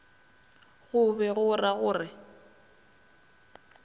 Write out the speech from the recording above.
go be go ragore a